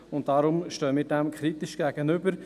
Deshalb stehen wir dem kritisch gegenüber.